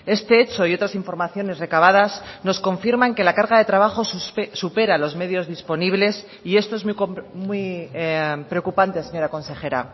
este hecho y otras informaciones recabadas nos confirman que la carga de trabajo supera los medios disponibles y esto es muy preocupante señora consejera